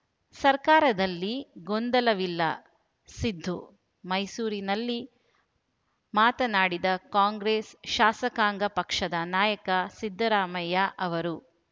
ಸರ್ಕಾರದಲ್ಲಿ ಗೊಂದಲವಿಲ್ಲ ಸಿದ್ದು ಮೈಸೂರಿನಲ್ಲಿ ಮಾತನಾಡಿದ ಕಾಂಗ್ರೆಸ್‌ ಶಾಸಕಾಂಗ ಪಕ್ಷದ ನಾಯಕ ಸಿದ್ದರಾಮಯ್ಯ ಅವರು